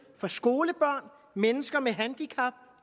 for skolebørn mennesker med handicap